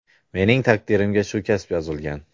Mening taqdirimga shu kasb yozilgan.